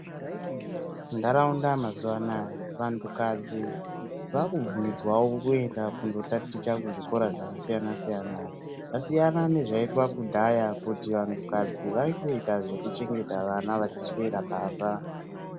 Ndaraunda mazuva anaya vantu kadzi vaku bvumidzwawo kuenda kundo taticha ku zvikora zvaka siyana siyana zvasiyana ne zvaitwa kudhaya kuti vantu kadzi vaingoita zveku chegeta vana vachi swera pamba.